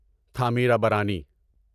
Thamirabarani